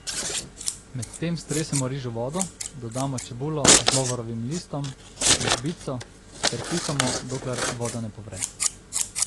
Medtem stresemo riž v vodo, dodamo čebulo z lovorovim listom in žbico ter kuhamo, dokler voda ne povre.